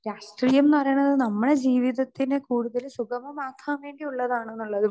speaker 2 രാഷ്ട്രീയം എന്ന് പറയണത് നമ്മടെ ജീവിതത്തിനെ കൂടുതല് സുഗമമാക്കാൻ വേണ്ടി ഉള്ളതാണെന്നുള്ളതും